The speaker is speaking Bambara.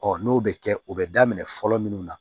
n'o bɛ kɛ o bɛ daminɛ fɔlɔ minnu na